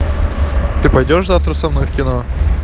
ты пойдёшь завтра со мной в кино